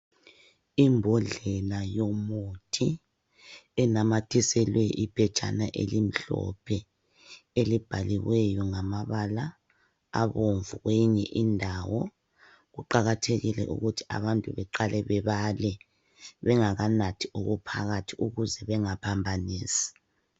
Imbodlela yomuthi enanyathiselwe iphetshana elimhlophe elibhaliweyo ngamabala abomvu kweyinye indawo. Kuqakathekile ukuthi abantu beqale bebale bengakanathi okuphakathi ukuze bengaphambanisi.